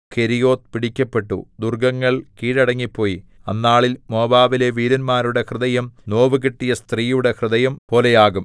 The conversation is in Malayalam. കെരീയോത്ത് പിടിക്കപ്പെട്ടു ദുർഗ്ഗങ്ങൾ കീഴടങ്ങിപ്പോയി അന്നാളിൽ മോവാബിലെ വീരന്മാരുടെ ഹൃദയം നോവുകിട്ടിയ സ്ത്രീയുടെ ഹൃദയം പോലെയാകും